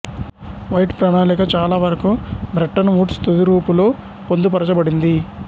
white ప్రణాళిక చాలావరకు Bretton Woods తుది రూపులో పొందుపరచబడింది